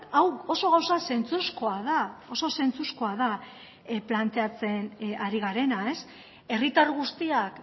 hau oso gauza zentzuzkoa da oso zentzuzkoa da planteatzen ari garena herritar guztiak